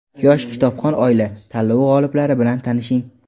"Yosh kitobxon oila" tanlovi g‘oliblari bilan tanishing:.